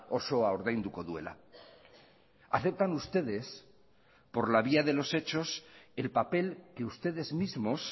osoa ordainduko duela aceptan ustedes por la vía de los hechos el papel que ustedes mismos